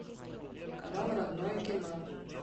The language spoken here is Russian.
канал родное кино